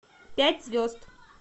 пять звезд